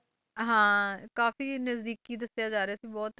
ਹਾਂ ਕਾਫ਼ੀ ਨਜ਼ਦੀਕੀ ਦੱਸਿਆ ਜਾ ਰਿਹਾ ਸੀ ਬਹੁਤ,